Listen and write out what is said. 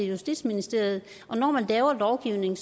justitsministeriet og når man laver lovgivning